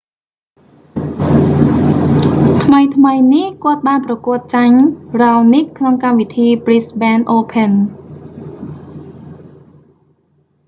ថ្មីៗនេះ គាត់បានប្រកួតចាញ់ raonic ក្នុងកម្មវិធី brisbane open